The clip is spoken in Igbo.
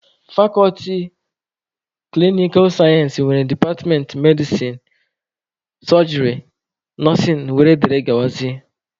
Fakọlti klinikal sayensị nwere departmentị medisin, sojịrị, nọsịn wdg.